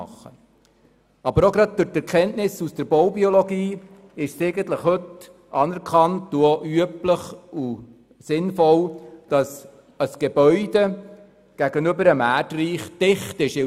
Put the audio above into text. Gerade auch durch die Erkenntnisse in der Baubiologie ist es heute anerkannt, üblich und sinnvoll, dass Gebäude gegenüber dem Erdreich dicht sind.